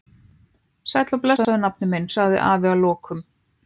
Sæll og blessaður, nafni minn, sagði afi að lokum.